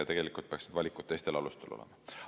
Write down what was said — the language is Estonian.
Tegelikult peaksid valikud teistel alustel olema.